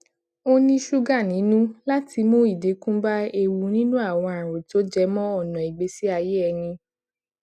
ó ní ṣúgà nínú láti mu idinku ba ewu nini àwọn àrùn tó jẹ mọ ọna ìgbésí ayé ẹni